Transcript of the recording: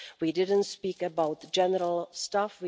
We didn't speak about general stuff.